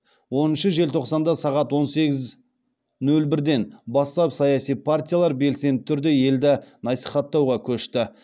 оныншы желтоқсанда сағат он сегіз нөл бірден бастап саяси партиялар белсенді түрде елді насихаттауға көшті